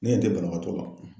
Ne ɲɛ tɛ banabagatɔ la.